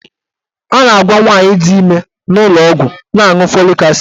A na-agwa nwaanyị di ime n'ụlọọgwụ na-aṅụ folik asid.